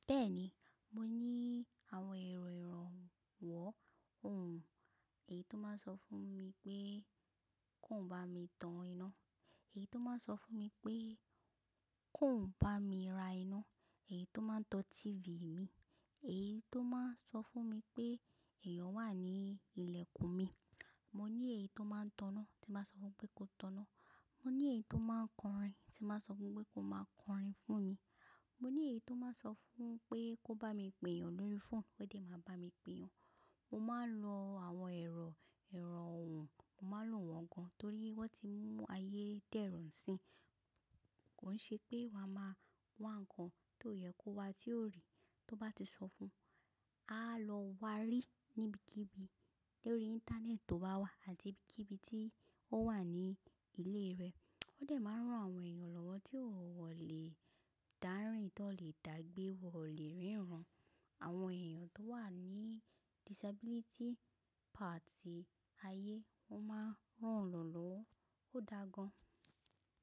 Bẹ́ẹ̀ni, mo ní àwọn ẹ̀rọ ìrànwọ́ ohùn, èyí tó máa n sọ fún mi pé kóún bá mi tan iná, èyí tó máa n sọ fún mi pé kóún bá mi ra iná, èyí tó máa n tọ tífì mi, èyí tó máa n sọ fún mi pé ẹ̀yàn wà ní ilẹ̀kùn mi. Mo ní èyí tó máa n tanná tí màá sọ fún pé kó tanná. Mo ní èyí tó máa n kọrin tí màá sọ fún pé kó máa kọrin fún mi. Mo ní èyí tó máa n sọ fún pé kó bá mi pè eyàn lórí fóònù ó dè máa bá mi pè eyàn. Mo máa n lo àwọn ẹ̀rọ ìrànwọ́, mo máa n lo wọ́n gan torí wọ́n ti mú ayé dẹ́rùn si. Kò ń ṣe pé wa máa wá nǹkan tó yẹ kó wa tí ó rí, tó bá ti sọ fún, a lọ wa rí níbikíbi lórí íńtánẹ́ẹ̀tì tó bá wà àti bíkíbi tí ó wà ní ilé rẹ̀. Ó dè máa ń rán àwọn èèyàn lọ́wọ́ tí wọ́n ò lè dárìn tí wọ́n lè dàgbé, wọ́n ò lè ríran. Àwọn èèyàn tó wà ní disability part ayé wọ́n máa ń ràn lọ́wọ́, ó dáa gan.